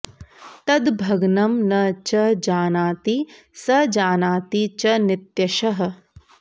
तद्भग्नं न च जानाति स जानाति च नित्यशः